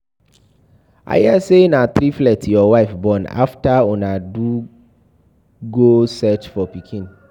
I hear say na triplet your wife born after una do go search for pikin.